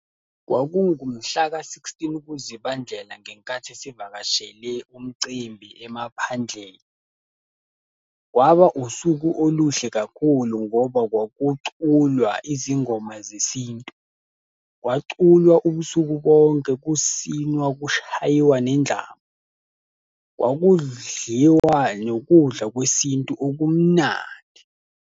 Kwakungu mhlaka-sixteen kuZibandlela ngenkathi sivakashele umcimbi emaphandleni. Kwaba usuku oluhle kakhulu ngoba kwakuculwa izingoma zesintu. Kwaculwa ubusuku bonke, kusinwa kushayiwa nendlamu. Kwakudliwa nokudla kwesintu okumnandi.